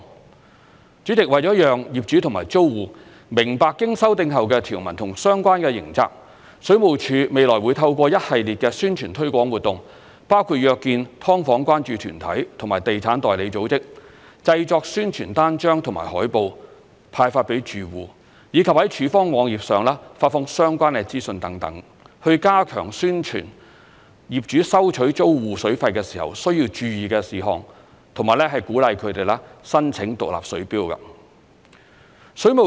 代理主席，為了讓業主及租戶明白經修訂後的條文及相關刑責，水務署未來會透過一系列的宣傳推廣活動，包括約見"劏房"關注團體及地產代理組織、製作宣傳單張和海報派發予住戶，以及在署方網頁上發放相關的資訊等，以加強宣傳業主收取租戶水費的時候需要注意的事項和鼓勵他們申請獨立水錶。